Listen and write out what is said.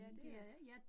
Ja det er